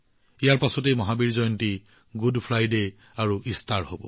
ইয়াৰ পিছত Mahavir Jayanti good Friday আৰু ইষ্টাৰো পালন কৰা হব